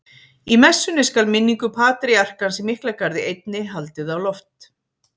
Í messunni skal minningu patríarkans í Miklagarði einni haldið á loft.